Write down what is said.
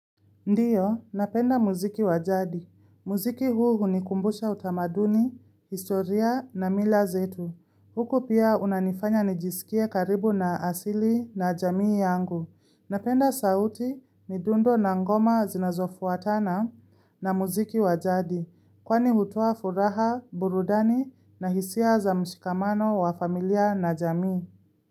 Ndiyo, napenda muziki wajadi. Muziki huu unikumbusha utamaduni, historia na mila zetu. Huku pia unanifanya nijisikie karibu na asili na jamii yangu. Napenda sauti ni dundo na ngoma zinazofuatana na muziki wajadi. Kwani hutoa furaha, burudani na hisia za mshikamano wa familia na jamii.